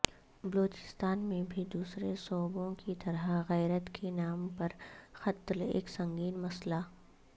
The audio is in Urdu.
بلوچستان میں بھی دوسرے صوبوں کی طرح غیرت کے نام پر قتل ایک سنگین مسئلہ